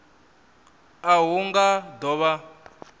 a hu nga do vha